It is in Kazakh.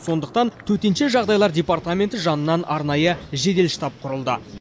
сондықтан төтенше жағдайлар департаменті жанынан арнайы жедел штаб құрылды